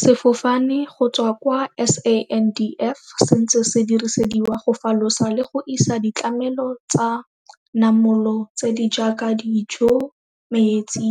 Sefofane go tswa kwa SANDF se ntse se dirisediwa go falosa le go isa ditlamelo tsa namolo tse di jaaka dijo, metsi,